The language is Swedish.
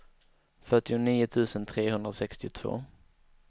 fyrtionio tusen trehundrasextiotvå